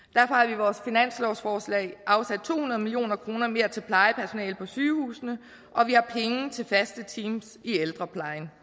i vores finanslovsforslag afsat to hundrede million kroner mere til plejepersonale på sygehusene og vi har penge til faste teams i ældreplejen